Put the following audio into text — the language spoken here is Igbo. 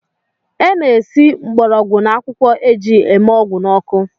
E na-esi mgborogwu na akwụkwọ e ji eme ọgwụ n’ọkụ